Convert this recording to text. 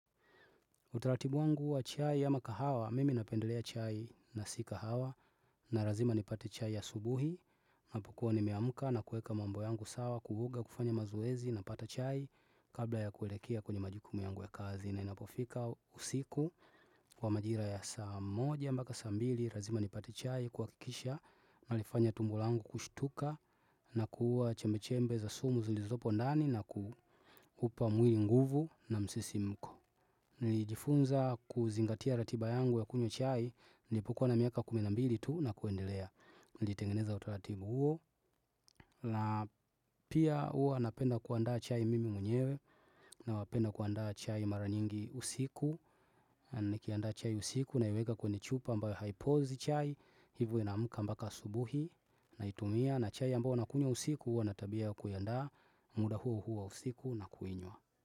Utaratibu wangu wa chai ya ama kahawa, mimi napendelea chai na si kahawa, na lazima nipate chai ya asubuhi, apo kuwa nimemka na kuweka mambo yangu sawa kuruka kufanya mazoezi napata chai kabla ya kuelekea kwenye majukumu yangu ya kazi na inapofika usiku kwa majira ya saa moja mpaka saa mbili lazima nipate chai kwa kuhakikisha nalifanya tumbo langu kushtuka na kuua chemechembe za sumu zilizopo ndani na kuupa mwili nguvu na msisimko. Nilijifunza kuzingatia ratiba yangu ya kunywa chai, nilipokuwa na miaka kumi na mbili tu na kuendelea. Nilitengeneza utaratibu huo, na pia huwa napenda kuandaa chai mimi mwenyewe na wanapenda kuandaa chai mara nyingi usiku Anakiandaa chai usiku, naiweka kwenye chupa ambayo haipozi chai, hivyo naamka mpaka asubuhi naitumia na chai ambao wanakunywa usiku huwa ana tabia ya kuiandaa muda huo huo usiku nakuinywa.